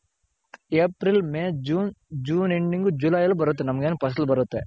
April, May, June, june Ending July ಅಲ್ಲಿ ಬರುತ್ತೆ ನಮ್ಗೆ ಫಸಲ್ ಬರುತ್ತೆ.